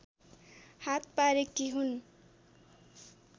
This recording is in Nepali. हात पारेकी हुन्